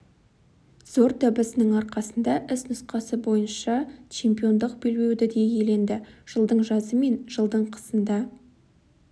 зор табысының арқасында іс нұсқасы бойынша чемпиондық белбеуді де иеленді жылдың жазы мен жылдың қысында